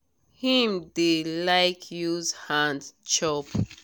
him dey like use hand chop.